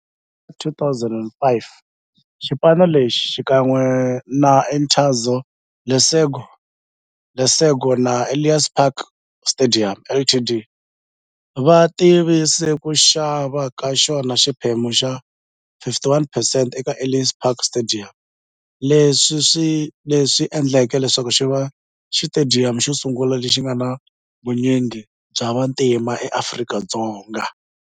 Hi lembe ra 2005, xipano lexi, xikan'we na Interza Lesego na Ellis Park Stadium Ltd, va tivise ku xava ka xona xiphemu xa 51 percent eka Ellis Park Stadium, leswi endleke leswaku xiva xitediyamu xosungula lexi nga na vunyingi bya vantima e Afrika-Dzonga.